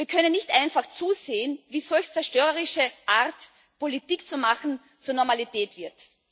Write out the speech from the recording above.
Wir können nicht einfach zusehen, wie solch zerstörerische Art, Politik zu machen, zur Normalität wird.